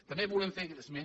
també volem fer esment